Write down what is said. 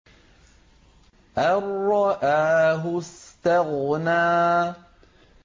أَن رَّآهُ اسْتَغْنَىٰ